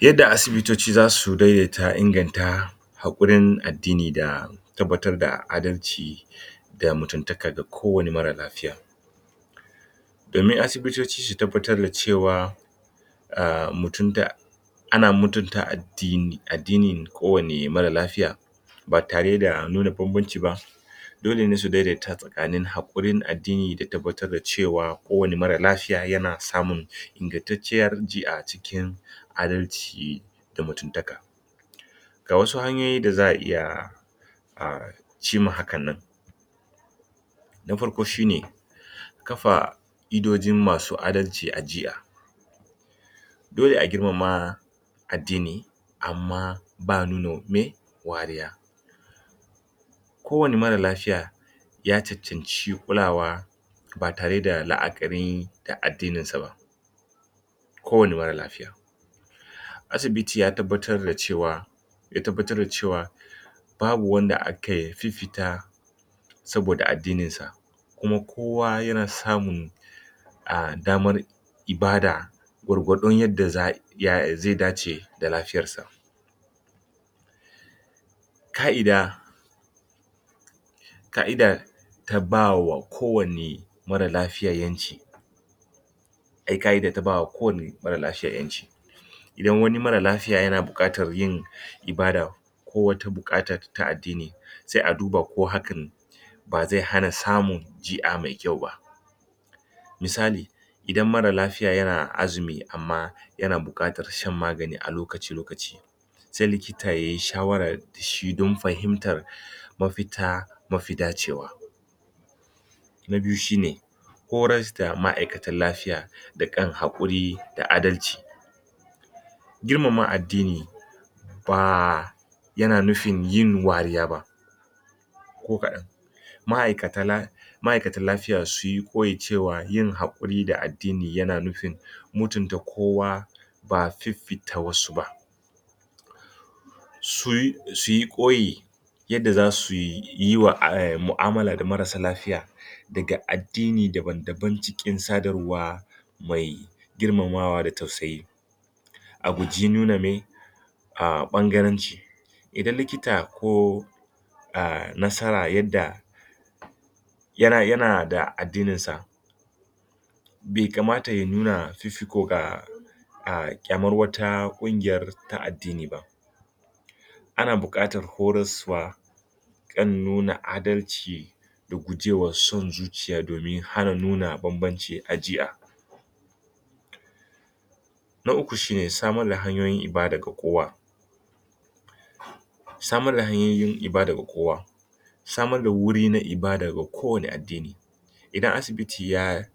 Yadda asibitoci za su daidaita inganta haƙurin addini da tabbatar da adalci da mutuntaka ga kowane marar lafiya. domin asibitoci su tabbatar da cewa a mutunta ana mutunta addinin kowane marar lafiya ba tare da nuna banbanci ba. dole ne su daidaita tsakanin haƙurin addini da tabbatar da cewa kowane marar lafiya yana samun ingantacciyar ji a cikin adalci da mutuntaka. Ga wasu hanyoyi da za a iya a hin hakan nan. Na farko shi ne kafa ƙa'idojin masu a dalci a jiha dole a girmama addini amma ba a nuna wariya kowane marar lafiya ya cancanci kulawa ba tare da la'akari da addininsa ba. Kowane marar lafiya. Asibiti ya tabbatar da cewa ya tabbatar da cewa babu wanda aka fifita saboda addininsa kuma kowa yana samun damar ibada gwargwadon yadda za zai dace da lafiyarsa. Ƙa'ida Ƙa'ida ta ba wa kowanne marar lafiya ƴanci. A yi ƙa'ida ta ba wa kowanne marar lafiya ƴanci. idan wani marar lafiya yana buƙatar yin ibada ko wata buƙata ta addini sai a duba ko hakan ba zai hana samun ji'a mai kyau ba. misali Idan marar lafiya yana azumi amma yana buƙatar shan magani a lokaci-lokaci sai likita ya yi shawarara shi don fahimtar mafita mafi dacewa. Na biyu shi ne Horas da ma'aikatan lafiya da yin haƙuri, da adalci girmama addini, ba yana nufin yin wariya ba. ko kaɗan ma'aikatan la ma'aikatan lafiya su yi koyi cewa yin haƙuri da addi dina yana nufin mutunta kowa ba fifita wasu ba su yi koyi yadda za su yi yiwa mu'amala da marassa lafiya daga addini dabam-daban cikin sadarwa mai girmamawa da tausayi. A guji nuna mai ɓangaranci idan likita ko nasara yadda yana yana da addininsa bai kamata ya nuna fifiko ga da ƙyamar wata ƙungiyar ta addini ba. Ana buƙatar horaswa kan nuna adalci da guje wa son zuciya domin hana nuna bambanci a ji'a. Na uku shi ne samar da hanyoyin ibada ga kowa. Samar da hanyoyin ibada ga kowa Samar da wuri na ibada ga kowane addini. Idan asibiti ya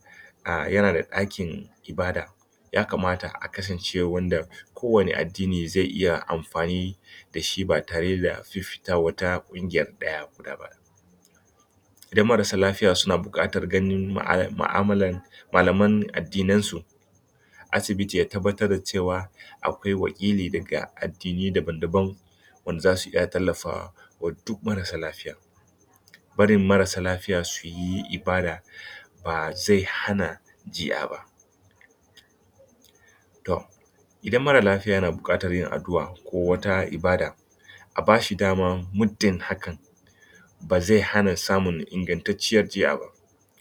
yana da ɗakin ibada ya kamata a kasance wanda kowane addini zai iya amfani da shi ba tare da fifita wata ɗaya guda ba. Idan marassa lafiya suna buƙatar ganin mu'amalan malaman addinansu asibiti ya tabbatar da cewa akwai wakili daga addinai dabam-daban wanda za su iya tallafa, wa duk marassa lafiyan. Barin marassa lafiya su yi ibada, ba zai hana jinya ba to Idan marar lafiya yana buƙatar yin addu'a ko wata ibada a ba shi dama, muddin hakan ba zai hana ba da ingantacciyar jinya ba.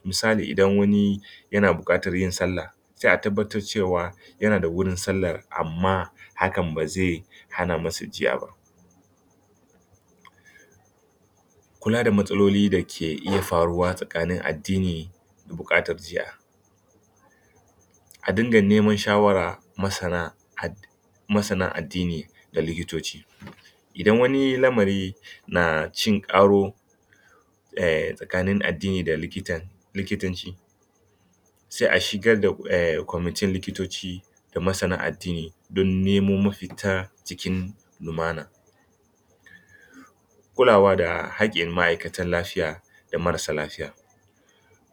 misali idan wani yana buƙatar yin salla, sai a tabbatar cewa yana da wurin sallar amma hakan ba zai hana masa jinya ba. Kula da matsaloli da ke iya faruwa tsakanin addini da buƙatar jinya A dinga neman shawarar masana addini Masana addini da likitoci. idan wani lamari na cin karo tsakanin addini da likita likitanci Sai a shigar ta kwamitin likito ci, da masanan addini don nemo mafita cikin lumana. Kulawa da haƙƙn ma'aikatan lafiya, da marassa lafiya.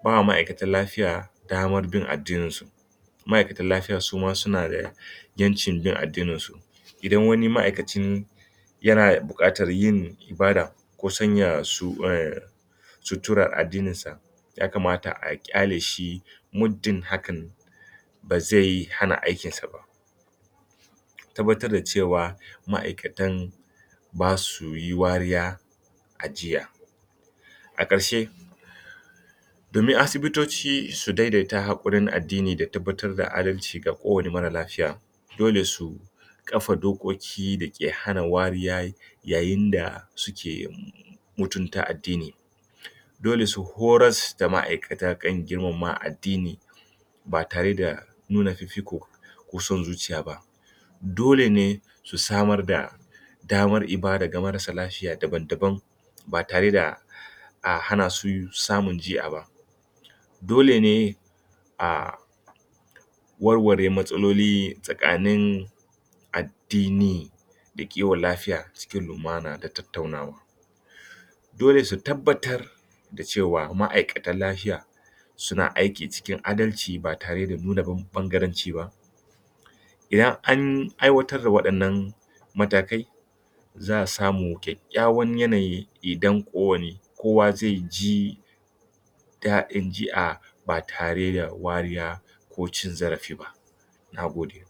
ba wa ma'aikatan lafiya damar bin addininsu. ma'aikatan lafiya su ma suna da ƴancin bin addininsu idan wani ma'aikacin yana buƙatar yin ibada ko sanya su suturar addininsa ya kamata a ƙyale shi muddin hakan ba zai hana aikinsa ba. Tabbatar da cewa ma'aikatan ba su yi wariya a jinya. a ƙarshe, domin asibitoci su daidaita taimakon haƙurin addini da tabbatar da adalci ga kowane marar lafiya dole su kafa dokoki da ke hana wariya yayin da suke mutunta addini. Dole su horas da ma'aikata kan girmama addini ba tare da nuna fifiko ko son zuciya ba. Dole ne su samar da Damar ibada ga marassa lafiya dabam-daban ba tare da a hana su samun jinya ba. dole ne a warware matsaloli tsakanin addini da kiwon lafiya cikin lumana da tattaunawa dole su tabbatar da cewa ma'aikatan lafiya suna aiki cikin adalci ba tare da nuna ɓangaranci ba Idan an aiwatar da waɗan nan matakai, za a samar da kyakkyawan yanayi idan kowane kowa zai ji daɗin jinya ba tare da wariya ko cin zarafi ba, na gode.